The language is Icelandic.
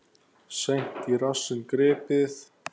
Seint í rassinn gripið.